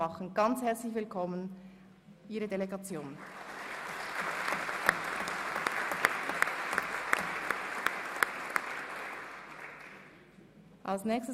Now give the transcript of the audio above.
Ein ganz herzliches Willkommen an Sie und Ihre Delegation, Herr Botschafter.